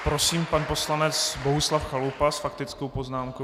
Prosím, pan poslanec Bohuslav Chalupa s faktickou poznámkou.